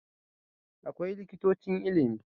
Akwai Likitocin Ilimi